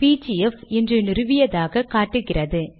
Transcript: PGF இன்று நிறுவியதாக காட்டுகிறது